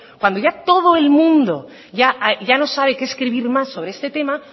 cuando ya todo el mundo ya no sabe qué escribir más sobre este tema